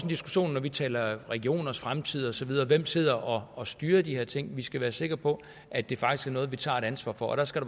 diskussion når vi taler regionernes fremtid og så videre hvem sidder og og styrer de her ting vi skal være sikre på at det faktisk er noget vi tager et ansvar for og der skal